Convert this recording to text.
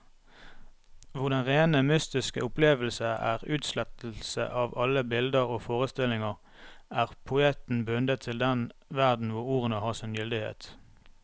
Hvor den rene mystiske opplevelse er utslettelse av alle bilder og forestillinger, er poeten bundet til den verden hvor ordene har sin gyldighet.